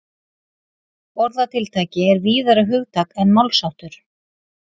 Orðatiltæki er víðara hugtak en málsháttur.